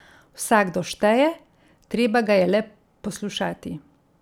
Vsakdo šteje, treba ga je le poslušati.